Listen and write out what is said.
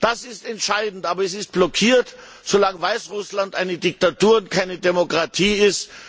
Das ist entscheidend, aber es ist blockiert, solange Weißrussland eine Diktatur und keine Demokratie ist.